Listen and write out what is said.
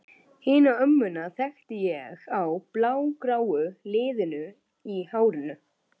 Hina ömmuna þekkti ég á blágráu liðunum í hárinu.